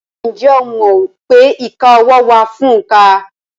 Ǹjẹ́ o mọ̀ pé ìka ọwọ́ wà fún òǹkà?